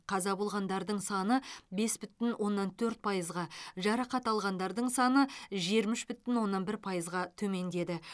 қаза болғандардың саны бес бүтін оннан төрт пайызға жарақат алғандардың саны жиырма үш бүтін оннан бір пайызға төмендеді